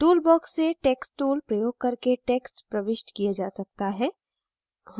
tool box से text tool प्रयोग करके text प्रविष्ट किया जा सकता है